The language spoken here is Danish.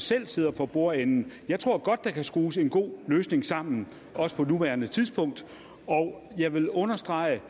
selv sidder for bordenden jeg tror godt at der kan skrues en god løsning sammen også på nuværende tidspunkt og jeg vil understrege